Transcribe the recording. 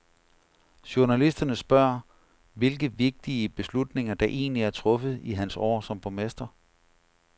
Journalisterne spørger, hvilke vigtige beslutninger der egentlig er truffet i hans år som borgmester.